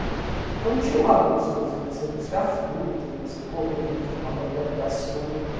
Então tinha um lado gostoso de você buscar fruta, de você correr, de tomar banho de açude.